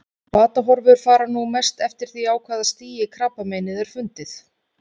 Batahorfur fara nú mest eftir því á hvaða stigi krabbameinið er fundið.